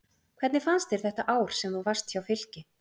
Hvernig fannst þér þetta ár sem þú varst hjá Fylki?